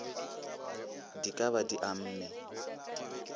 di ka ba di amme